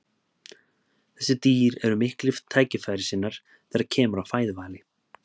Þessi dýr eru miklir tækifærissinnar þegar kemur að fæðuvali.